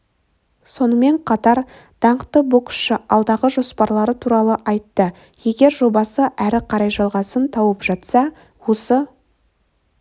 сонымен қатар даңқты боксшы алдағы жоспарлары туралы айтты егер жобасы әрі қарай жалғасын тауып жатса осы